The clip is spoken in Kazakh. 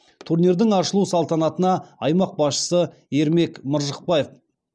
турнирдің ашылу салтанатына аймақ басшысы ермек мыржықпаев